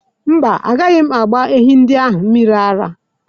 Mba, agaghị m agba ehi ndị ahụ mmiri ara.